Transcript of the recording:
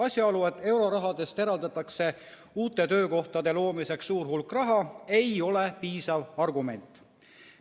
Asjaolu, et eurorahast eraldatakse uute töökohtade loomiseks suur hulk raha, ei ole piisav argument.